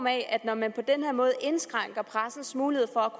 at man på den her måde indskrænker pressens mulighed for